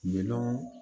Minnɔn